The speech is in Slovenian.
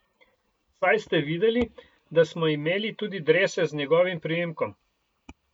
Saj ste videli, da smo imeli tudi drese z njegovim priimkom.